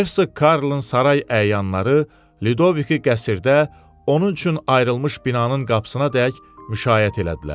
Hersoq Karlın saray əyanları Lidovikin qəsrdə onun üçün ayrılmış binanın qapısınadək müşayiət elədilər.